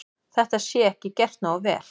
Það sé ekki gert nógu vel.